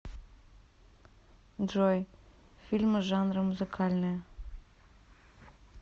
джой фильмы жанры музыкальные